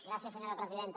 gràcies senyora presidenta